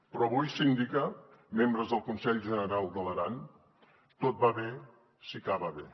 però avui síndica membres del conselh generau d’aran tot va bé si acaba bé